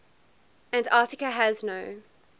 antarctica has no